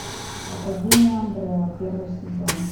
академия амбрелла первый сезон